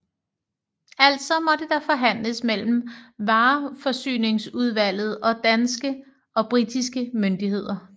Altså måtte der forhandles mellem vareforsyningsudvalget og danske og britiske myndigheder